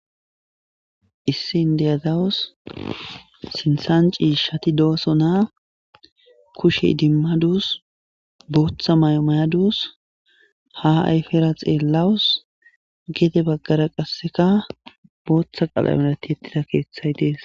issini de7azawos sinthan ciishati doosonaa kushe idimmaduus booththa may7o may7aduus ha ayfera xeellawus geede baggara qasseka booththa qalame tiyettida keeththay dees.